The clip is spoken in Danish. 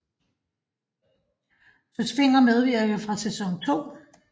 Søs Fenger medvirker fra sæson 2